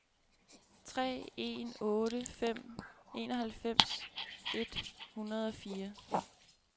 tre en otte fem enoghalvfems et hundrede og fire